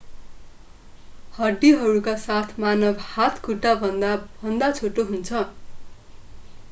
हड्डीहरूका साथ मानव हात खुट्टाभन्दा भन्दा छोटो हुन्छ